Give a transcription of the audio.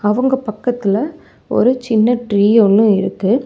அவங்க பக்கத்துல ஒரு சின்ன ட்ரீ ஒன்னு இருக்கு.